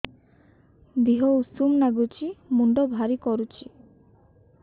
ଦିହ ଉଷୁମ ନାଗୁଚି ମୁଣ୍ଡ ଭାରି କରୁଚି